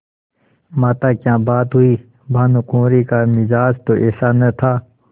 माताक्या बात हुई भानुकुँवरि का मिजाज तो ऐसा न था